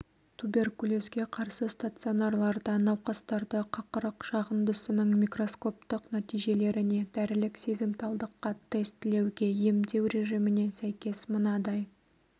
туберкулезге қарсы стационарларда науқастарды қақырық жағындысының микроскоптық нәтижелеріне дәрілік сезімталдыққа тестілеуге емдеу режиміне сәйкес мынадай